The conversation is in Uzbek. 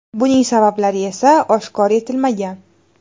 Buning sabablari esa oshkor etilmagan.